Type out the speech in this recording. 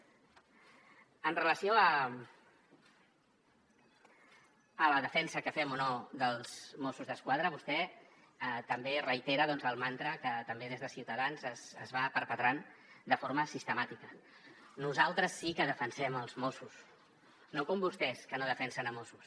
amb relació a la defensa que fem o no dels mossos d’esquadra vostè també reitera el mantra que també des de ciutadans es va perpetrant de forma sistemàtica nosaltres sí que defensem els mossos no com vostès que no defensen els mossos